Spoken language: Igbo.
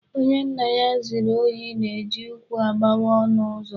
Onye nna ya ziri ohi na-eji ụkwụ agbawa ọnụ ụzọ.